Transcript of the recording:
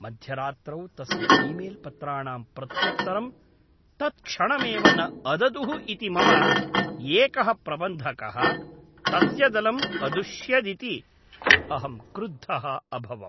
मध्यरात्रौ तस्य ईमेल् पत्राणां प्रत्युत्तरं तत्क्षणमेव न अददुः इति मम एकः प्रबन्धकः तस्य दलम् अदुष्यदिति अहं क्रुद्धः अभवम्।